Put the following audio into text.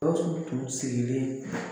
GAWUSU tun sirilen